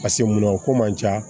pase mun na o ko man ca